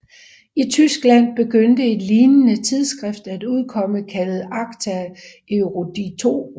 I Tyskland begyndte et lignende tidsskrift at udkomme kaldet Acta eruditorum